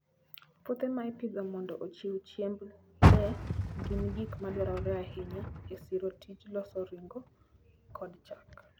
Puothe ma ipidho mondo ochiw chiemb le gin gik madwarore ahinya e siro tij loso ring'o kod chak.